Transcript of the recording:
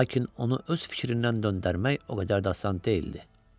Lakin onu öz fikrindən döndərmək o qədər də asan deyildi.